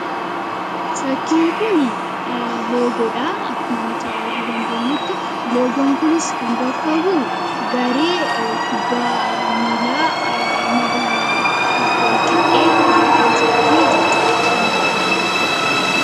fakkiin kun loogoodha akkuma nuti yarguu dandeenyutti loogoon kunis kan bakkabu garee kubbaa miilaa magaala walqixxee ta'usaatii jechuudha kan nuti as irratti agarru.